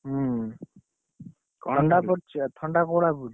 ହୁଁ, ଥଣ୍ଡା ପଡିଛି ନା ଥଣ୍ଡା କୋଉ ଭଳିଆ ପଡିଛି?